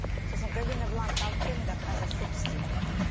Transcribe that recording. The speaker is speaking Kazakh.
сосын галина бланка алып келіңдер қазір суп істеймін